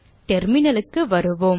Terminal க்கு வருவோம்